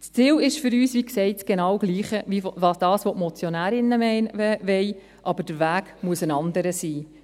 Das Ziel ist für uns, wie gesagt, genau dasselbe wie das, was die Motionärinnen wollen, aber der Weg muss ein anderer sein.